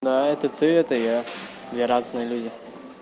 да это ты это я мы разные люди